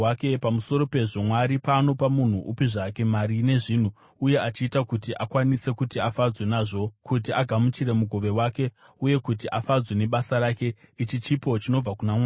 Pamusoro pezvo, Mwari paanopa munhu upi zvake mari nezvinhu, uye achiita kuti akwanise kuti afadzwe nazvo kuti agamuchire mugove wake uye kuti afadzwe nebasa rake, ichi chipo chinobva kuna Mwari.